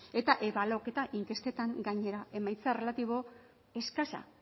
eta ebaluaketa inkestetan gainera emaitza relatibo eskasa